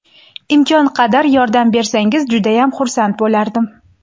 Imkon qadar yordam bersangiz judayam xursand bo‘lardim.